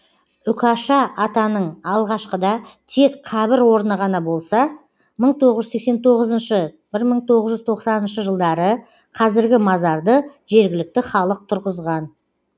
үкаша атаның алғашқыда тек қабір орны ғана болса мың тоғыз жүз сексен тоғызыншы бір мың тоғыз жүз тоқсаныншы жылдары қазіргі мазарды жергілікті халық тұрғызған